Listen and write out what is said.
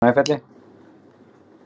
Snæfelli